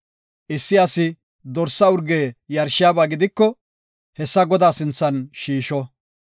Issi asi dorsa urge yarshiyaba gidiko hessa Godaa sinthan shiisho.